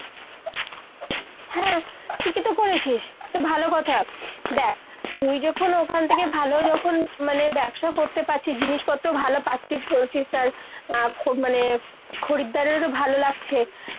হ্যাঁ ঠিকই তো করেছিস। ভালো কথা। দ্যাখ, তুই যখন ওখান থেকে ভালো যখন মানে ব্যবসা করতে পারছিস, জিনিসপত্র ভালো পাচ্ছিস বলছিস আর খ মানে খরিদ্দারের ও ভালো লাগছে